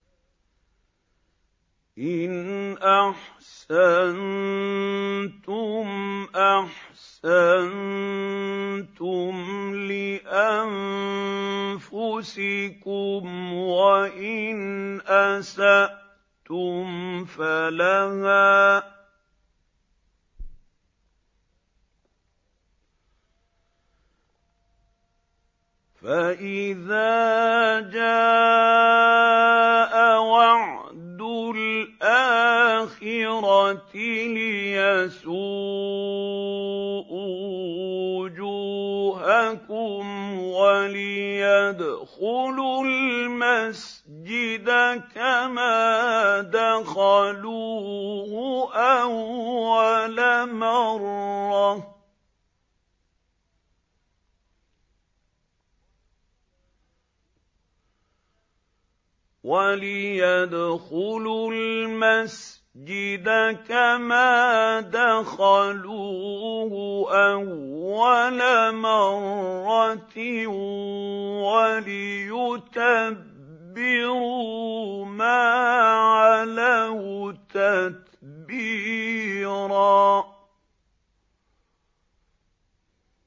إِنْ أَحْسَنتُمْ أَحْسَنتُمْ لِأَنفُسِكُمْ ۖ وَإِنْ أَسَأْتُمْ فَلَهَا ۚ فَإِذَا جَاءَ وَعْدُ الْآخِرَةِ لِيَسُوءُوا وُجُوهَكُمْ وَلِيَدْخُلُوا الْمَسْجِدَ كَمَا دَخَلُوهُ أَوَّلَ مَرَّةٍ وَلِيُتَبِّرُوا مَا عَلَوْا تَتْبِيرًا